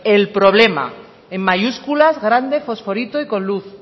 el problema en mayúsculas grande fosforito y con luz